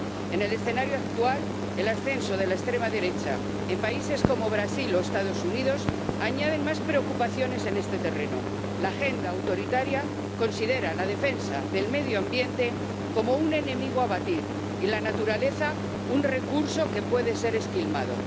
En el escenario actual, el ascenso de la extrema derecha en países como Brasil o los Estados Unidos añade más preocupaciones en este terreno. La agenda autoritaria considera la defensa del medio ambiente como un enemigo a batir y la naturaleza, un recurso que puede ser esquilmado.